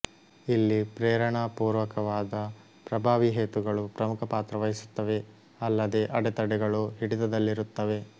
ಇಲ್ಲಿ ಪ್ರೇರಣಾಪುರ್ವಕವಾದ ಪ್ರಭಾವೀ ಹೇತುಗಳು ಪ್ರಮುಖಪಾತ್ರ ವಹಿಸುತ್ತವೆ ಅಲ್ಲದೆ ಅಡೆತಡೆಗಳು ಹಿಡಿತದಲ್ಲಿರುತ್ತವೆ